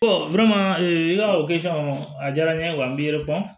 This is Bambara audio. i ka o kɛ sisan a diyara n ye wa n b'i yɛrɛ dɔn